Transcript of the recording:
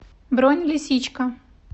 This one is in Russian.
бронь лисичка